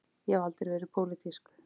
Ég hef aldrei verið pólitísk.